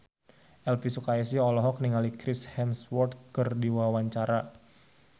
Elvy Sukaesih olohok ningali Chris Hemsworth keur diwawancara